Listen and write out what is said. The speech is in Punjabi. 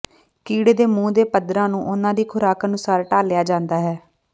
ਕੀੜੇ ਦੇ ਮੂੰਹ ਦੇ ਪੱਧਰਾਂ ਨੂੰ ਉਨ੍ਹਾਂ ਦੀ ਖੁਰਾਕ ਅਨੁਸਾਰ ਢਾਲਿਆ ਜਾਂਦਾ ਹੈ